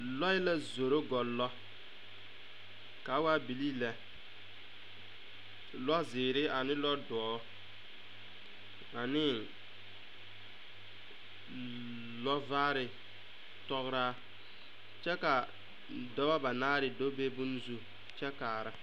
Lɔɛ la zoro gɔllɔ ka a waa bilii lɛ lɔɛ zeere ane lɔdoɔ ane lɔvaare tɔgraa kyɛ ka dɔba banaare do be bonne zu kyɛ kaara.